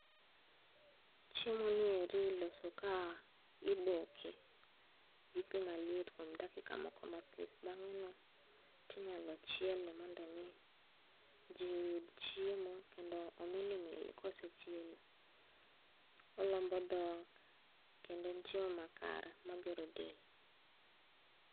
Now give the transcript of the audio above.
Chiemoni eri iloso ka iboke gi pi maliet kuom dakika moko matin. Bang'eno, tinyalo chiele mondo mi ji oyud chiemo. Kendo omilimili kosechiele, olombo dhok kendo en chiemo makare magero del.